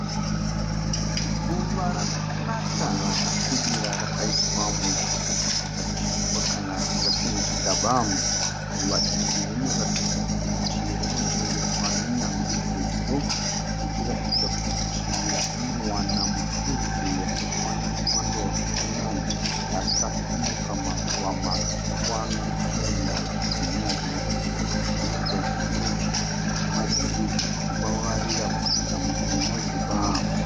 Ruva rakanaka rakasvibira rakaiswa muchigubhu chakachekwa kana tingati kuti muchigaba. Ruva iri rinoratidza kuti rinochengetwa nenyanzvi sezvo richiratidza kuti rinowana mufudze wakakwana nemwando wakakwana. Rakatumbuka maruva matsvuku anopenya achibwinya zvinoratidza kuti zvinokwezva nyuchi nemazingizi zvichivavarira kusvika muto unozipa.